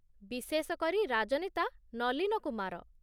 ବିଶେଷ କରି, ରାଜନେତା ନଲୀନ କୁମାର